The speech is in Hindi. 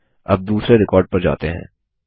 चलिए अब दुसरे रिकॉर्ड पर जाते हैं